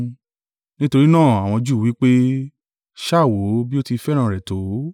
Nítorí náà àwọn Júù wí pé, “Sá wò ó bí ó ti fẹ́ràn rẹ̀ tó!”